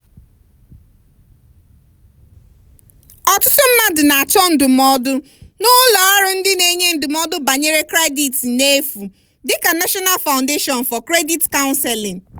ọtụtụ mmadụ na-achọ ndụmọdụ n'ụlọ ọrụ ndị na-enye ndụmọdụ banyere kredit n'efu dị ka national foundation for credit counseling.